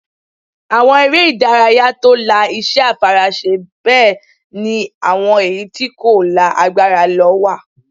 Àwọn eré ìdárayá tó la iṣẹ́ àfaraṣe bẹ́ẹ̀ ni àwọn èyí tí kò la agbára lọ wà